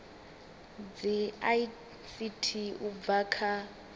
dza ict u bva kha